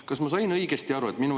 Kas ma sain õigesti aru?